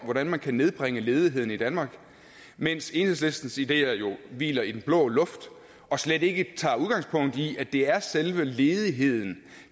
hvordan man kan nedbringe ledigheden i danmark mens enhedslistens ideer jo hviler i den blå luft og slet ikke tager udgangspunkt i at det er selve ledigheden